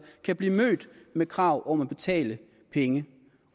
kan blive mødt med krav om at betale penge